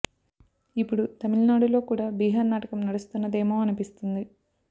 ఇపుడు తమిళనాడులో కూడా బీహార్ నాటకం నడుస్తున్నదేమో అనిపిస్తుంది